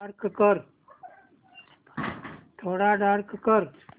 थोडा डार्क कर